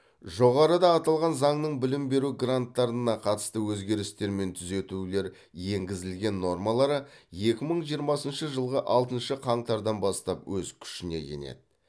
жоғарыда аталған заңның білім беру гранттарына қатысты өзгерістер мен түзетулер енгізілген нормалары екі мың жиырмасыншы жылғы алтыншы қаңтардан бастап өз күшіне енеді